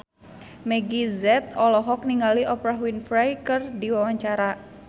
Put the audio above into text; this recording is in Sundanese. Meggie Z olohok ningali Oprah Winfrey keur diwawancara